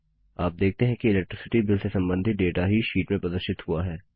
आप देखते है कि इलेक्ट्रिसिटी बिल से संबंधित डेटा ही शीट में प्रदर्शित हुआ है